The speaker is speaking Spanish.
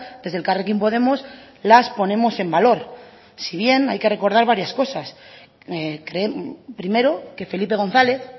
desde elkarrekin podemos las ponemos en valor si bien hay que recordar varias cosas primero que felipe gonzález